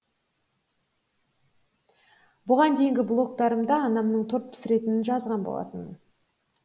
бұған дейінгі блогтарымда анамның торт пісіретінін жазған болатынмын